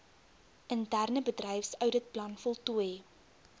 interne bedryfsouditplan voltooi